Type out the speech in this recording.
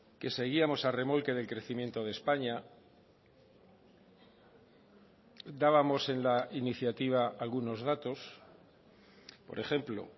que seguíamos a remolque del crecimiento de españa dábamos en la iniciativa algunos datos por ejemplo